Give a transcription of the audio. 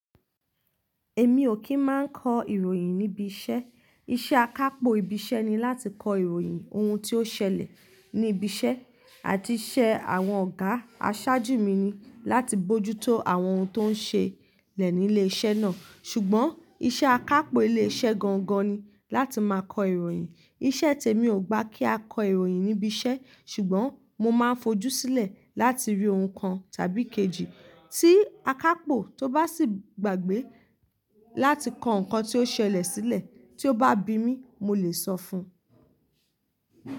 Èmi ò kí ń máa kọ ìròyìn níbi iṣẹ́. Iṣẹ́ akápò ibi iṣẹ́ ni láti kọ ìròyìn ohun tí ó ṣẹlẹ̀ ní ibi iṣẹ́ àti iṣẹ́ àwọn ọ̀gá. Aṣáájú mi ni láti mójútó àwọn ohun tó ń ṣẹlẹ̀ ní ilé iṣẹ́ náà. Ṣùgbọ́n iṣẹ́ akápò ilé iṣẹ́ gangan ni láti máa kọ ìròyìn. Iṣẹ́ tèmi ò gba kí a kọ ìròyìn níbi iṣẹ́. Ṣùgbọ́n mo máa fojú sílẹ̀ láti rí ohun kan tàbí kejì tí akápò tó bá sì gbàgbé láti kọ nǹkan tí ó ṣẹlẹ̀ sílẹ̀ tí ó bá bi mí mo lè sọ fún un.